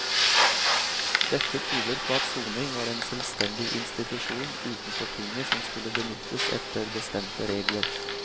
Dette tyder på at soning var en selvstendig institusjon utenfor tinget som skulle benyttes etter bestemte regler.